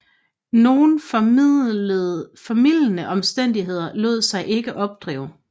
Nogen formildende omstændigheder lod sig ikke opdrive